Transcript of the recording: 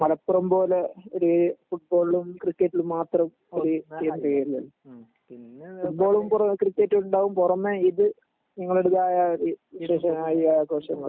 മലപ്പുറം പോലെ ഒര് ഫുട്ബോളിലും ക്രിക്കറ്റ് ലും മാത്രം ഒര് ഫുട്ബോളും ക്രിക്കറ്റും ണ്ടാവും പൊറമെ ഇത് ആഘോഷങ്ങൾ